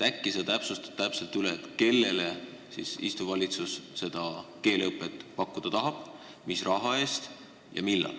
Äkki sa täpsustad üle, kellele istuv valitsus seda keeleõpet pakkuda tahab, mis raha eest ja millal.